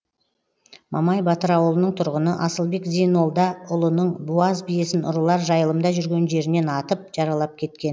мамай батыр ауылының тұрғыны асылбек зейнолдаұлының буаз биесін ұрылар жайылымда жүрген жерінен атып жаралап кеткен